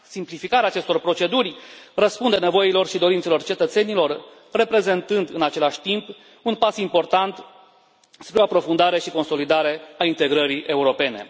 Simplificarea acestor proceduri răspunde nevoilor și dorințelor cetățenilor, reprezentând, în același timp, un pas important spre o aprofundare și consolidare a integrării europene.